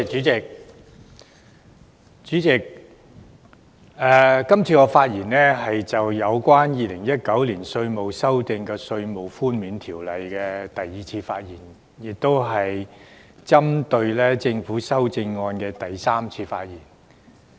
主席，今次是我就《2019年稅務條例草案》的第二次發言，亦是針對政府修正案的第三次發言。